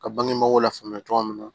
Ka bangebagaw lafaamuya cogo min na